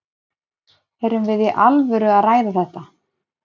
Erum við í alvöru að ræða þetta?